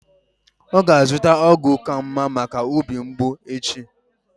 Ọ ga-azụta ọgwụ ka mma maka obi mgbụ echi.